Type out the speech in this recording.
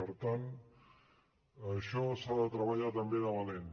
per tant això s’ha de treballar també de valent